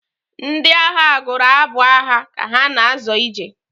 Ndị agha gụrụ abụ agha ka ha na-azọ ije.